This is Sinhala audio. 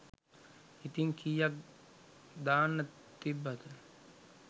ඉතින් කීයක් දාන්න තිබ්බද.